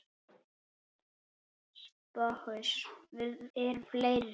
SOPHUS: Við erum fleiri.